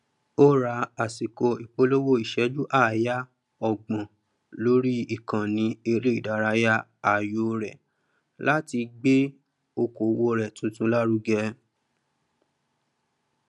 ó ra àsìkò ìpolówó ìsẹjú àayá ógbọn lórí ìkànnì eré ìdárayá ààyò rẹ láti gbé okòwò rẹ tuntun lárugẹ